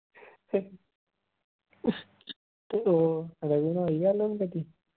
ਉਹ ਰਘੂ ਨਾਲ ਹੋਈ ਗੱਲ ਹੁਣ ਕਦੀ।